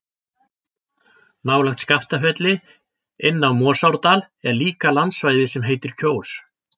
Nálægt Skaftafelli, inn af Morsárdal er líka landsvæði sem heitir Kjós.